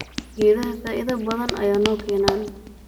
Geedhaha faidha badaan aya nokenan.